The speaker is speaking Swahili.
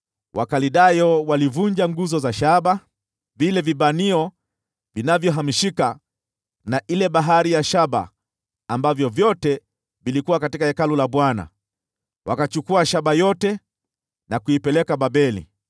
Wakaldayo walivunja vipande zile nguzo za shaba, vile vishikilio vya shaba vilivyohamishika, na ile Bahari ya shaba, ambavyo vyote vilikuwa katika Hekalu la Bwana . Hivyo wakaichukua hiyo shaba yote na kuipeleka Babeli.